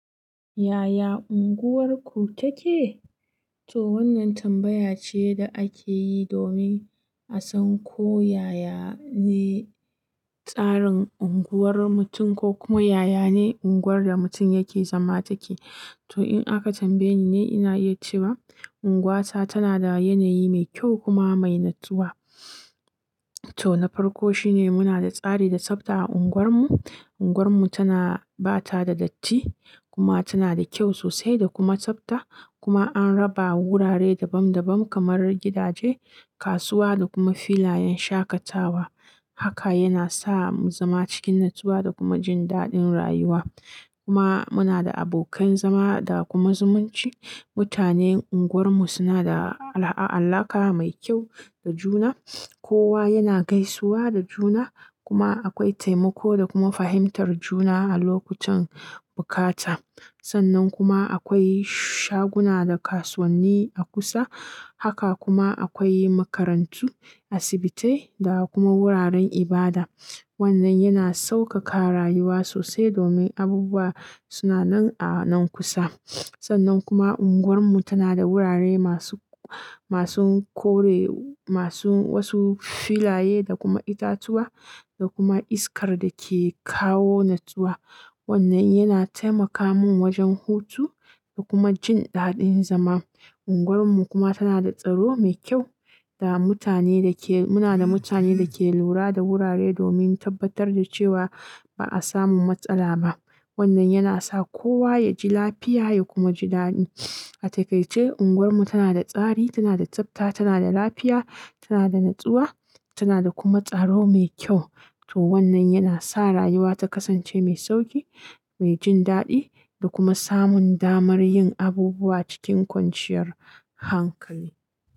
Yaya unguwarku take? To wannan tambaya ce da ake yi domin a san ko yaya ne tsarin unguwar mutum ko kuma yaya ne unguwar da mutum yake zama take. To in aka tambaye ni ne, ina iya cewa unguwata tana da yanayi mai kyau kuma mai natsuwa. To na farko shine muna da tsari da tsafta a unguwarmu. Unguwarmu tana ba ta da datti kuma tana da kyau sosai da kuma tsafta. Kuma an raba wurare dabam dabam kamar gidaje, kasuwa da kuma filayen shakatawa. Haka yana sa mu zama cikin natsuwa da kuma jin daɗin rayuwa. Kuma muna da abokan zama da kuma zumunci. Mutanen unguwarmu suna da ala-alaƙa mai kyau da juna. Kowa yana gaisuwa da juna kuma akwai taimako da kuma fahimtar juna a lokutan bukata. Sannan kuma akwai shaguna da kasuwanni a kusa. Haka kuma akwai makarantu, asibitai da kuma wuraren ibada. Wannan yana sauƙaƙa rayuwa sosai domin abubuwa suna nan a nan kusa. Sannan kuma unguwarmu tana da wurare masu-masun kore masu wasu filaye da kuma itatuwa da kuma iskar da ke kawo natsuwa. Wannan yana taimaka mun wajen hutu da kuma jin daɗin zama. Unguwarmu kuma tana da tsaro mai kyau da mutane da ke-- muna da mutane da ke lura da wurare domin tabbatar da cewa ba a samu matsala ba. Wannan yana sa kowa ya ji lafiya ya kuma ji daɗi. A takaice unguwarmu tana da tsari, tana da tsafta, tana da lafiya, tana da natsuwa, tana da kuma tsaro mai kyau. To wannan yana sa rayuwa ta kasance mai sauƙi, mai jin daɗi da kuma samun damar yin abubuwa cikin kwanciyar hankali.